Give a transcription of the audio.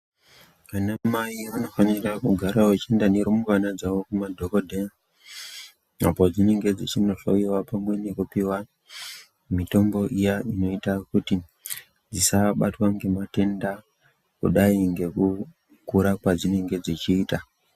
Vana Mai vanofanirwa kugara vachienda nerumbwana dzavo kumadhokhodheya apo padzinenge dzeindohloiwa pamwe nekupiwa mitombo iya inoita kuti vasabatwa nematenda kudai nekukura kwadzinenge dzechiita.